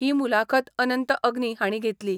ही मुलाखत अनंत अग्नी हाणी घेतली.